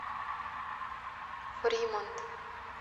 фримонт